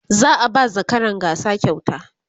za'a ba zakaran gasa kyauta